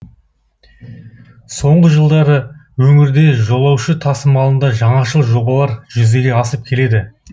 соңғы жылдары өңірде жолаушы тасымалында жаңашыл жобалар жүзеге асып келеді